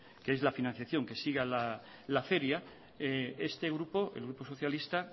que es la financiación que siga la feria este grupo el grupo socialista